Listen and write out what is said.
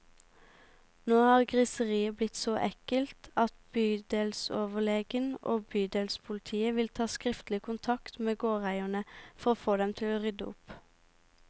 Nå har griseriet blitt så ekkelt at bydelsoverlegen og bydelspolitiet vil ta skriftlig kontakt med gårdeierne, for å få dem til å rydde opp.